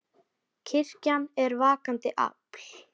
Kirkjan er vakandi afl.